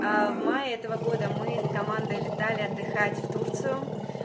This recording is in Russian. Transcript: в мае этого года мы с командой летали отдыхать в турцию